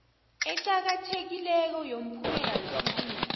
eqakathekileko yomphumela wesibili